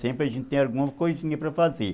Sempre a gente tem alguma coisinha para fazer.